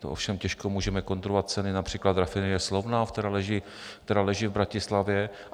To ovšem těžko můžeme kontrolovat, ceny například rafinerie Slovnaft, která leží v Bratislavě.